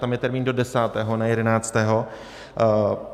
Tam je termín do desátého, ne jedenáctého.